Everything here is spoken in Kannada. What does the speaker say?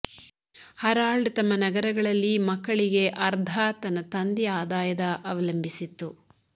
ಹರಾಲ್ಡ್ ತಮ್ಮ ನಗರಗಳಲ್ಲಿ ಮಕ್ಕಳಿಗೆ ಅರ್ಧ ತನ್ನ ತಂದೆಯ ಆದಾಯದ ಅವಲಂಬಿಸಿತ್ತು